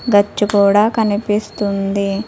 గచ్చు కూడా కనిపిస్తుంది.